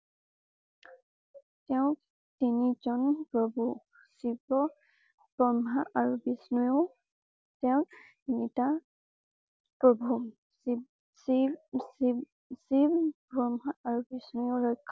তেওঁ তিনি জন প্ৰভু শিৱ, ব্ৰহ্মা আৰু বিষ্ণুৱেও তেওঁক নিতা প্ৰভু। শিৱশিৱশিৱশিৱ ব্ৰহ্মা আৰু বিষ্ণুৱেও ৰক্ষা